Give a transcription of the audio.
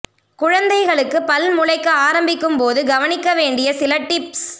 குழந்தைகளுக்கு பல் முளைக்க ஆரம்பிக்கும் போது கவனிக்க வேண்டிய சில டிப்ஸ்